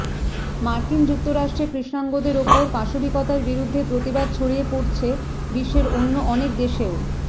মার্কিন যুক্তরাষ্ট্রে কৃষ্ণাঙ্গদের ওপর পাশবিকতার বিরুদ্ধে প্রতিবাদ ছড়িয়ে পড়ছে বিশ্বের অন্য অনেক দেশেও